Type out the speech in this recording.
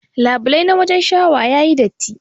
Labulai na wajen shawa yayi datti.